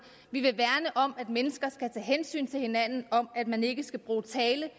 vi vil at mennesker skal tage hensyn til hinanden og at man ikke skal bruge tale